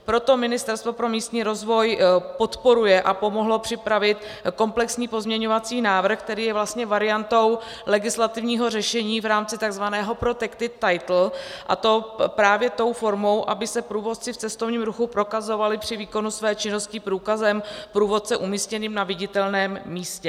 Proto Ministerstvo pro místní rozvoj podporuje a pomohlo připravit komplexní pozměňovací návrh, který je vlastně variantou legislativního řešení v rámci tzv. protected title, a to právě tou formou, aby se průvodci v cestovním ruchu prokazovali při výkonu své činnosti průkazem průvodce umístěným na viditelném místě.